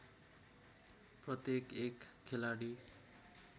प्रत्येक एक खेलाडी